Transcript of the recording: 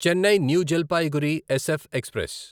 Chennai New Jalpaiguri SF express